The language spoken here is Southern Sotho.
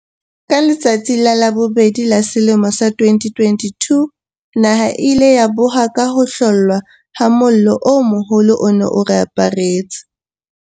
Ka letsatsi la bobedi la selemo sa 2022, naha e ile ya boha ka ho hlollwa ha mollo o moholo o ne o aparetse